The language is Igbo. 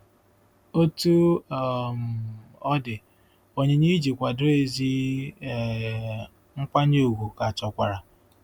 Otú um ọ dị, onyinye iji kwado ezi um nkwanye ùgwù ka chọkwara.